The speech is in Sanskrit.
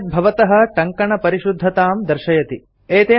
एतत् भवतः टङ्कणपरिशुद्धतां दर्शयति